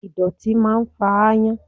Ìdọ̀tí máa ń fa ayan.